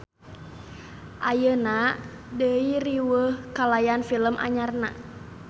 Ayeuna deui riweuh kalayan film anyarna.